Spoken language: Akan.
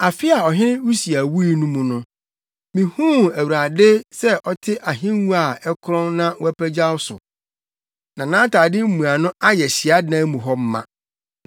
Afe a ɔhene Usia wui mu no, mihuu Awurade sɛ ɔte ahengua a ɛkorɔn na wapagyaw so na nʼatade mmuano ayɛ hyiadan mu hɔ ma.